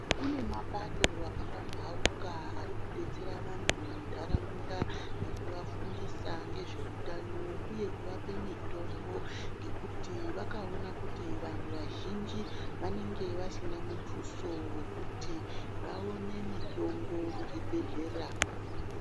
Kune mapato akapambauka ari kudetsera vanhu muntaraunda, ngekuvafundisa ngezveutano uye kuvape kuti vakaona kuti vantu vazhinji vanenge vasina mutuso wekuti vaone mitombo muzvibhedhlera.